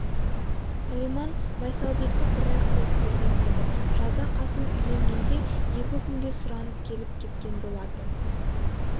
алиман майсалбекті бір-ақ рет көрген еді жазда қасым үйленгенде екі күнге сұранып келіп кеткен болатын